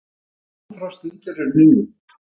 Langþráð stund er runnin upp!